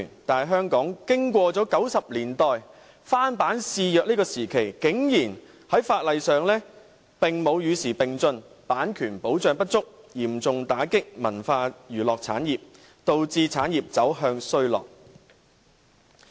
但是，香港經過了1990年代翻版肆虐的時期，法例竟然沒有與時並進，版權保障不足，嚴重打擊文化娛樂產業，導致產業走向衰落。